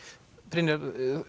Brynjar